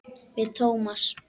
Við Tómas.